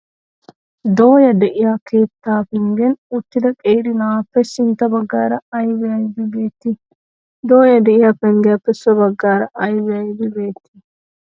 Dooya de'iyaa keetta penggen uttida qeeri na'aappe sintta baggaara aybi aybi beettii? Dooya de'iyaa penggiyaappe so baggaara aybi aybi beettii?